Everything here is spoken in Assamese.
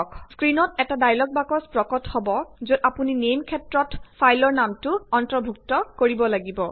স্ক্ৰিণত এটা ডায়লগ বক্স প্ৰকট হব যত আপুনি নেইম ক্ষেত্ৰত ফাইলৰ নামটো অন্তৰ্ভুক্ত কৰিব লাগিব